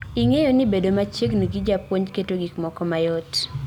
Ing'eyo nibedo machiegni gi japuonj keto gik moko mayot